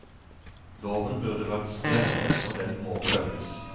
Loven burde vært strengere og den må følges.